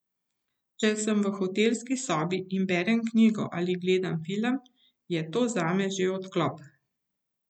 Če sem v hotelski sobi in berem knjigo ali gledam film, je to zame že odklop.